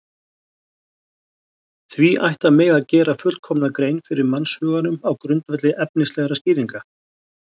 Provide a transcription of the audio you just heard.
því ætti að mega gera fullkomna grein fyrir mannshuganum á grundvelli efnislegra skýringa